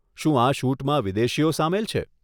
શું આ શૂટમાં વિદેશીઓ સામેલ છે?